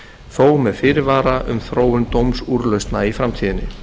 þó með fyrirvara um þróun dómsúrlausna í framtíðinni